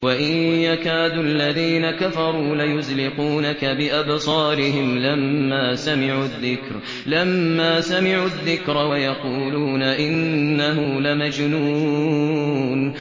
وَإِن يَكَادُ الَّذِينَ كَفَرُوا لَيُزْلِقُونَكَ بِأَبْصَارِهِمْ لَمَّا سَمِعُوا الذِّكْرَ وَيَقُولُونَ إِنَّهُ لَمَجْنُونٌ